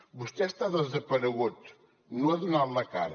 vostè està desaparegut no ha donat la cara